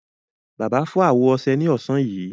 Bàbá fọ́ àwọ ọṣẹ ní ọ̀sán yìí.